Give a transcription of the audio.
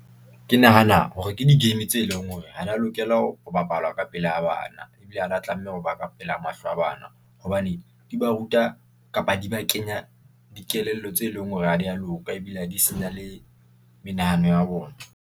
Ke nahana hore ke di-game tse leng hore ha di ya lokela ho bapalwa ka pela bana, ebile ha di ya tlameha ho ba ka pela mahlo a bana, hobane di ba ruta, kapa di ba kenya dikelello tse leng hore ha di ya loka ebile ha di senya le menahano ya bona.